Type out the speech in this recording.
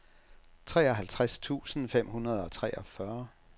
treoghalvtreds tusind fem hundrede og treogfyrre